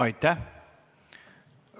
Aitäh!